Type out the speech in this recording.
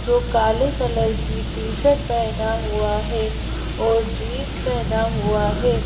जो काले कलर की टी-शर्ट पहना हुआ है और जींस पहना हुआ है।